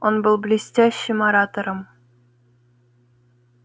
он был блестящим оратором